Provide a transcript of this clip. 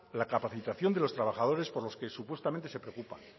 la capacitación de los trabajadores por los que supuestamente se preocupa